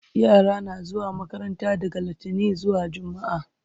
yara na zuwa makaranta daga littani zuwa jumma'a